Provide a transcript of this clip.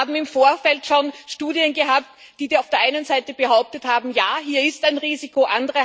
Wir haben im Vorfeld schon Studien gehabt, die auf der einen Seite behauptet haben Ja, hier ist ein Risiko.